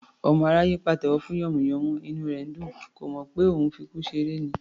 Ọmọ aráyé ńpàtẹ́wọ́ fún yànmùyánmú, inú ẹ̀ ńdùn; kò mọ̀ pé òun ńfi ikú ṣeré ni